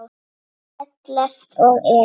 Ellert og Elín.